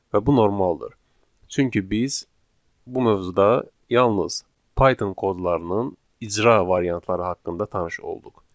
Və bu normaldır, çünki biz bu mövzuda yalnız Python kodlarının icra variantları haqqında tanış olduq.